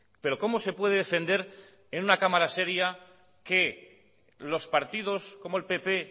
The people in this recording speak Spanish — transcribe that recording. pero cómo se puede defender en una cámara seria que los partidos como el pp